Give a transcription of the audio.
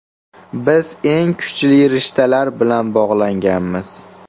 Biz eng kuchli rishtalar bilan bog‘langanmiz.